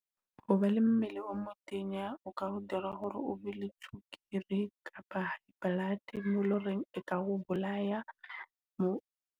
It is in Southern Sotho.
Hoba le mmele o motenya, o ka ho dira hore o be le tswekere kapa blood emo loreng e ka o bolaya mo.